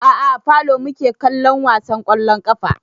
A'a a falo muke kallon wasan ƙwallon ƙafa